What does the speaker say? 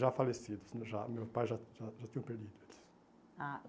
Já falecidos, já meu pai já já já tinha perdido eles. Ah